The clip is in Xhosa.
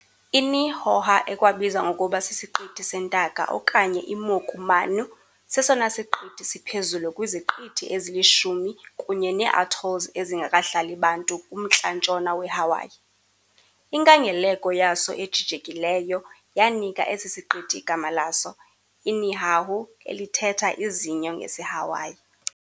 INihoha ekwabiza ngokuba siSiqithi seNtaka okanye iMoku Manu, sesona siqithi siphezulu kwiziqithi ezili-10 kunye neeatolls ezingakahlali bantu kumntla-ntshona weHawaii . Inkangeleko yaso ejijekileyo yanika esi siqithi igama laso, "iNihahu," elithetha "izinyo" ngesiHawaii .